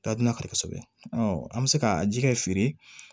Taa dun kari kosɛbɛ an bɛ se ka ji kɛ feere